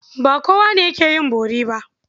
Ba kowa ne yake yin bori ba.